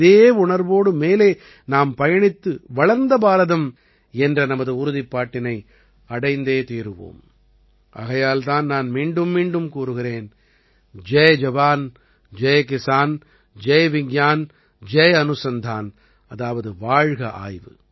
இதே உணர்வோடு மேலே நாம் பயணித்து வளர்ந்த பாரதம் என்ற நமது உறுதிப்பாட்டினை அடைந்தே தீருவோம் ஆகையால் தான் நான் மீண்டும்மீண்டும் கூறுகிறேன் ஜய் ஜவான் ஜய் கிஸான் ஜய் விஞ்ஞான் ஜய் அனுசந்தான் அதாவது வாழ்க ஆய்வு